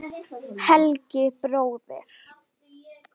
Heilagi bróðir!